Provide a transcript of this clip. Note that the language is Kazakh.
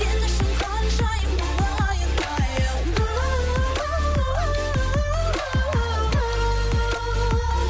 сен үшін ханшайым болайын айым ууу